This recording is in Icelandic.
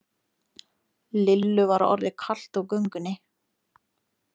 Lillu var orðið kalt á göngunni.